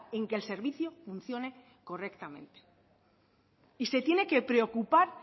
en que el servicio funcione correctamente y se tiene que preocupar